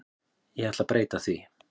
Ég ætla breyta því.